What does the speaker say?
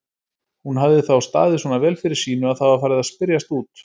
Hún hafði þá staðið svona vel fyrir sínu að það var farið að spyrjast út.